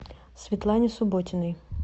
светлане субботиной